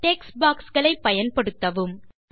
text box களை பயன்படுத்தவும்